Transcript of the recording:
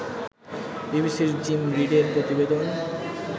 বিবিসির জিম রিডের প্রতিবেদন